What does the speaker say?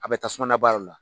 A bɛ tasumana baara la